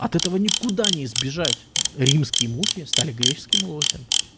от этого никуда не сбежать римский мухи стали греческим лосем